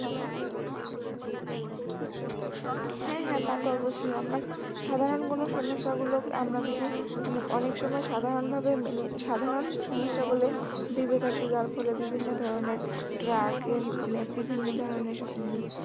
হ্যাঁ হ্যাঁ তা তো অবশ্যই, আমরা সাধারণ কোন সমস্যা গুলো আমরা যদি মানে অনেক সময় সাধারণ ভাবে মেনে সাধারণ সমস্যা গুলো ভেবে থাকি যার ফলে বিভিন্ন ধরনের drug মানে বিভিন্ন ধরনের